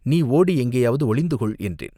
நீ ஓடி எங்கேயாவது ஒளிந்து கொள், என்றேன்.